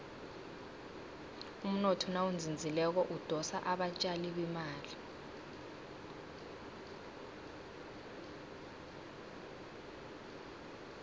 umnotho nawuzinzileko udosa abatjali bemali